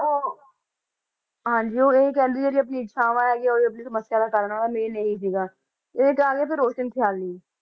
ਉਹ ਹਾਂਜੀ ਉਹ ਇਹੀ ਕਹਿੰਦੇ ਜਿਹੜੀ ਆਪਣੀ ਇਛਾਵਾਂ ਹੈਗੀਆਂ ਉਹੀ ਆਪਣੀ ਸਮੱਸਿਆ ਦਾ ਕਾਰਨ ਆ main ਇਹੀ ਸੀਗਾ, ਇਹ ਤੇ ਆ ਗਿਆ ਫਿਰ ਰੋਸ਼ਨ ਖ਼ਿਆਲੀ